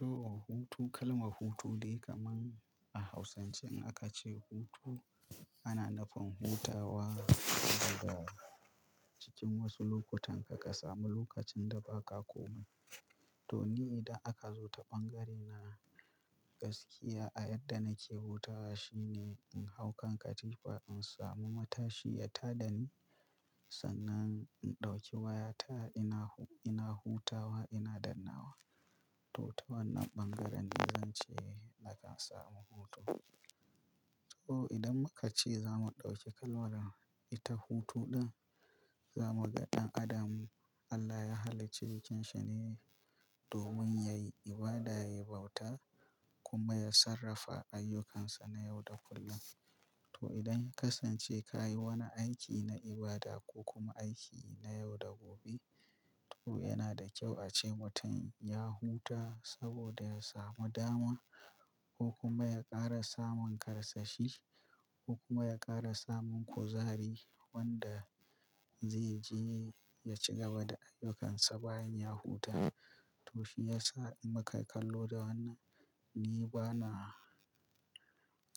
To, hutu kalmar hutu dai kamar a Hausance in aka ce hutu ana nufin hutawa dabarar cikin wasu lokutan ka ka samu lokacin da ba ka komai. To, ni idan aka zo ta bangare na gaskiya a yadda nake hutawa shine in hau kan katifa insamu matashi ya tadani sannan in dauki wayata ina hutawa ina dannawa to ta wannan bangaren dai zance ana samun hutu to idan muka ce zamu dauki kalmar ita hutu din zamuga dan adam Allah ya hallicci jikin shi ne domin yayi ibada yayi bauta kuma ya sarrafa ayyukansa na yau da kullum to idan ya kasance kayi wani aiki na ibada ko kuma aiki na yau da gobe toh yanada kyau ace mutum ya huta saboda yasamu dama ko kuma ya ƙara samun karsashi ko kuma ya ƙara samun kuzari wanda zai je ya ci gaba da ayyukansa bayan ya huta. To shi yasa in muka kallo da wannan ni bana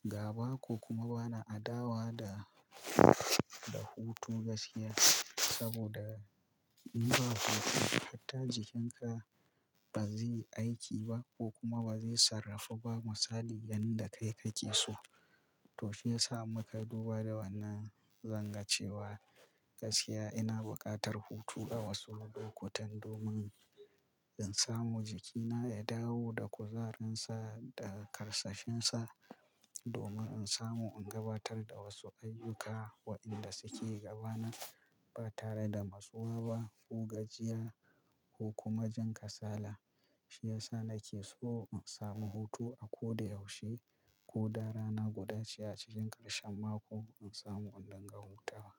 gaba ko kuma bana adawa da, da hutu gaskiya saboda in ba hutu hatta jikinka ba zai aiki ba ko kuma ba zai sarrafa ba misali yanda kai kake so. To shi yasa muka duba da wannan zan gancewa gaskiya ina buƙatar hutu a wasu lokutan domin in samu jikina ya dawo da kuzarinsa da karsashinsa domin in samu in gabatar da wasu ayyuka waɗanda suke gaba na ba tare da matsuwa ba ko gajiya ko kuma jin kasala. Shi yasa nake so in samu hutu a ko da yaushe ko da rana guda ce a cikin ƙarshen mako in samu indinga hutawa.